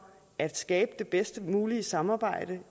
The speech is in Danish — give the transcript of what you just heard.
at skabe det bedst mulige samarbejde